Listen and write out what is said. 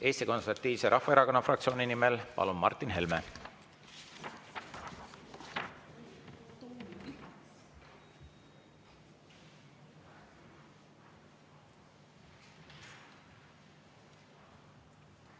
Eesti Konservatiivse Rahvaerakonna fraktsiooni nimel Martin Helme, palun!